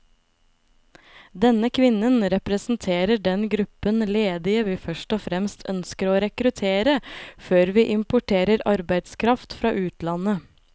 Denne kvinnen representerer den gruppen ledige vi først og fremst ønsker å rekruttere, før vi importerer arbeidskraft fra utlandet.